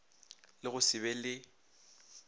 le go se be le